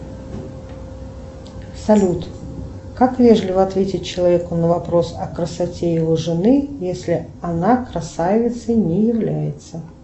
салют как вежливо ответить человеку на вопрос о красоте его жены если она красавицей не является